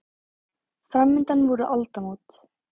Framundan voru aldamót.